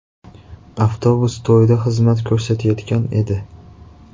Avtobus to‘yda xizmat ko‘rsatayotgan edi.